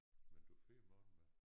Men du siger morgenmad?